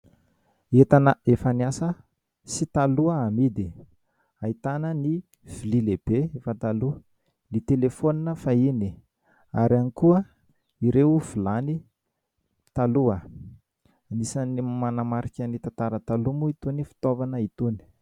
Entana efa niasa sy taloha amidy, ahitana ny vilia lehibe fa taloha, ny "telephone" fahiny ary ihany koa ireo vilany taloha. Anisan'ny manamarika ny tantara taloha moa itony fitaovana itony.